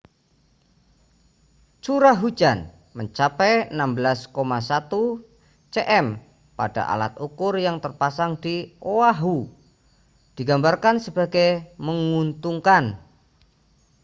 curah hujan mencapai 16,1 cm pada alat ukur yang terpasang di oahu digambarkan sebagai menguntungkan